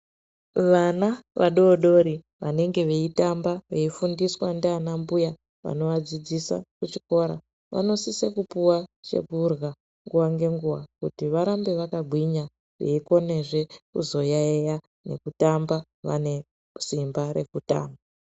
Vana vadodori vanenge veitamba, veifundiswa ngaana mbuya vanenge veivadzidzisa kuchikora vanosisa kupuwa chekurya nguwa ngenguwa kuti varambe vakagwinya veikonezve kuzoyaiya nekutamba vane simba rekutamba.